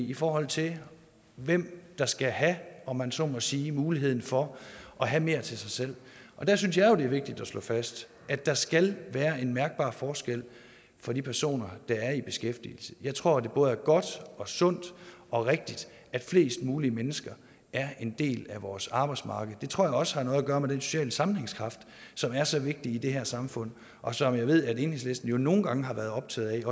i forhold til hvem der skal have om man så må sige muligheden for at have mere til sig selv der synes jeg jo det er vigtigt at slå fast at der skal være en mærkbar forskel for de personer der er i beskæftigelse jeg tror det både er godt sundt og rigtigt at flest mulige mennesker er en del af vores arbejdsmarked det tror jeg også har noget gøre med den sociale sammenhængskraft som er så vigtig i det her samfund og som jeg ved at enhedslisten jo nogle gange har været optaget